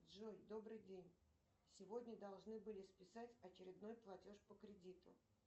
джой добрый день сегодня должны были списать очередной платеж по кредиту